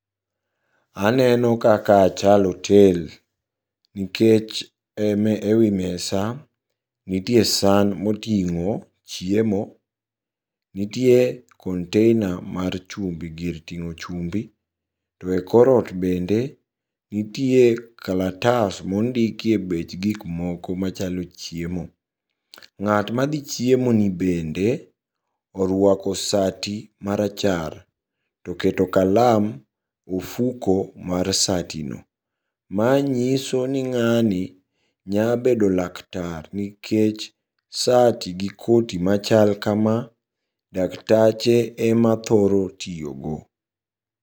Aneno kakaa chal otel, nikech e wi mesa nitie san moting'o chiemo nitie container mar chumbi gir ting'o chumbi, to e korot bende nitie kalatas mondikie bech gikmoko machalo chiemo. Ng'at madhi chiemoni bende oruako sati marachar toketo kalam ofuko mar satino, manyisoni ng'ani nyabedo laktar nikech sati gi koti machal kama daktache emathoro tiyogo.